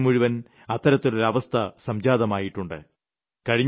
നമ്മുടെ രാജ്യം മുഴുവൻ അത്തരത്തിലൊരു അവസ്ഥ സംജാതമായിട്ടുണ്ട്